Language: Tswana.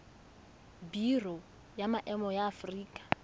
biro ya maemo ya aforika